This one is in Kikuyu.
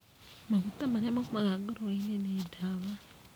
Maguta marĩa maumaga ngũrũe-inĩ ni ndawa.